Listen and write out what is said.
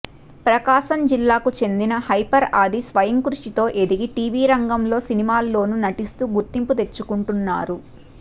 ప్రకాశం జిల్లాకు చెందిన హైపర్ ఆది స్వయంకృషితో ఎదిగి టీవీ రంగంలో సినిమాల్లోనూ నటిస్తూ గుర్తింపు తెచ్చుకుంటున్నారు